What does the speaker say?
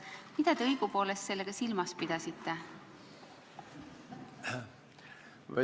Mida te õigupoolest sellega silmas pidasite?